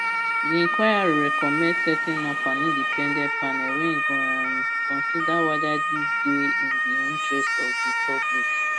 di inquiry recommend setting up an independent panel wey go um consider whether dis dey in di interest of di public